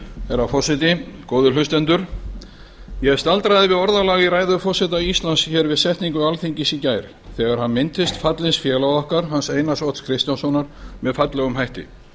herra forseti góðir hlustendur ég staldraði við orðalag í ræðu forseta íslands hér við setningu alþingis í gær þegar hann minntist fallins félaga okkar hans einars odds kristjánssonar með fallegum hætti